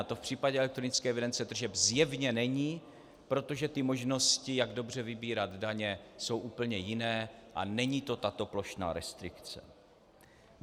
A to v případě elektronické evidence tržeb zjevně není, protože ty možnosti, jak dobře vybírat daně, jsou úplně jiné a není to tato plošná restrikce.